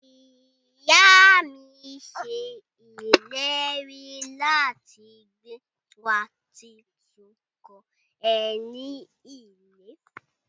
Iya mi se ileri lati gba wa titun kan eni ile.